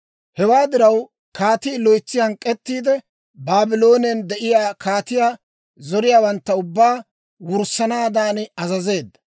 Hewaa diraw, kaatii loytsi hank'k'ettiide Baabloonen de'iyaa kaatiyaa zoriyaawantta ubbaa wurssanaadan azazeedda.